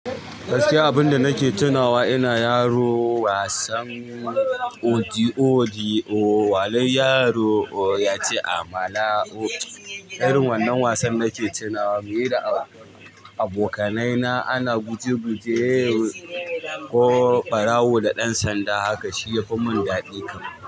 Gaskiya abinda nake tunawa ina yaro wasan audio audio, walin yaro ya ci amala. Irin wannan wasan nake tunawa muyi da abokanai na ana guje guje ko ɓarawo da ɗan sanda, haka shi yafi mun daɗi kam.